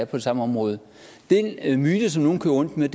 det samme område den myte som nogle kører rundt med